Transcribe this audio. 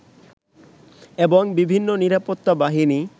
এবং বিভিন্ন নিরাপত্তা বাহিনী